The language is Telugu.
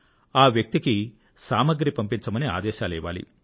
ఆ వ్యక్తికి సామాగ్రి పంపించమని ఆదేశాలు ఇవ్వాలి